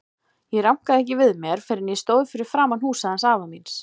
Ég rankaði ekki við mér fyrr en ég stóð fyrir framan húsið hans afa míns.